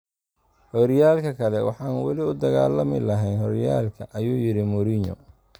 "Horyaalka kale, waxaan wali u dagaalami lahayn horyaalka" ayuu yiri Mourinho.